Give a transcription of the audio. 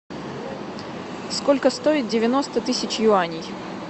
сколько стоит девяносто тысяч юаней